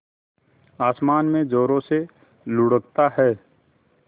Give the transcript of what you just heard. आसमान में ज़ोरों से लुढ़कता है